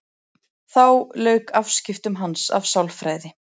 Þá lauk afskiptum hans af sálfræði.